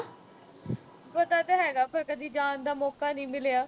ਪਤਾ ਤਾਂ ਹੈਗਾ ਪਰ ਕਦੇ ਜਾਣ ਦਾ ਮੌਕਾ ਨੀਂ ਮਿਲਿਆ।